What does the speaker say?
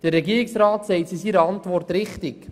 Der Regierungsrat sagt es in seiner Antwort richtig: